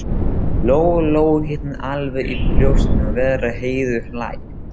Lóu Lóu hitnaði alveg í brjóstinu við að heyra Heiðu hlæja.